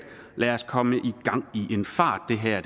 lad os komme i gang i en fart det her